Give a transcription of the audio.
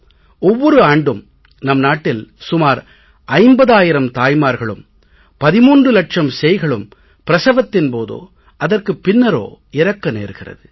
ஒவ்வொரு ஆண்டும் நம் நாட்டில் சுமார் 50000 தாய்மார்களும் 13 லட்சம் சேய்களும் பிரசவத்தின் போதோ அதற்குப் பின்னரோ இறக்க நேர்கிறது